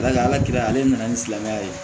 Ala ka ala kira ale nana ni silamɛya ye